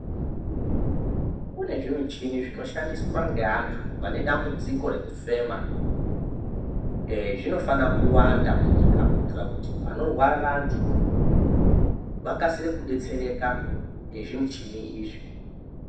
Kune zvimishini zvinoshandiswa ngeantu vane dambudziko rekufema, ehe zvinofanira kuwanda munyika kuitira kuti panorwara vantu vakasire kudetsereka nezvimishini izvi.